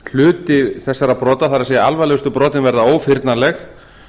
hluti þessara brota það er alvarlegustu brotin verða ófyrnanleg